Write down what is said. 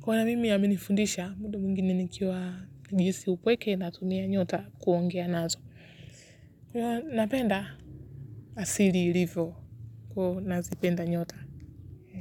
kuna na mimi ya amenifundisha muda mwingine nikiwa najihisi upweke natumia nyota kuongea nazo na penda asili ilivyo kuwa nazipenda nyota.